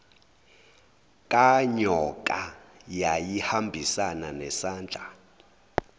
kanyoka yayihambisana nesandla